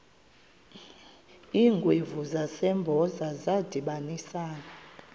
iingwevu zasempoza zadibanisana